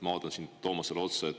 Ma vaatan siin Toomasele otsa.